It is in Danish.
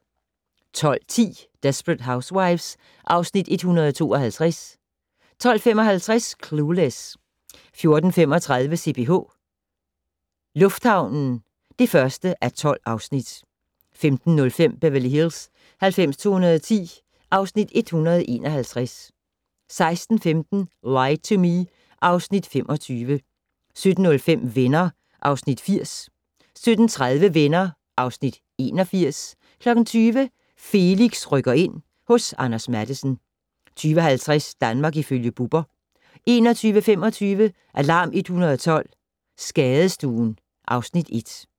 12:10: Desperate Housewives (Afs. 152) 12:55: Clueless 14:35: CPH - lufthavnen (1:12) 15:05: Beverly Hills 90210 (Afs. 151) 16:15: Lie to Me (Afs. 25) 17:05: Venner (Afs. 80) 17:30: Venner (Afs. 81) 20:00: Felix rykker ind - hos Anders Matthesen 20:50: Danmark ifølge Bubber 21:25: Alarm 112 - Skadestuen (Afs. 1)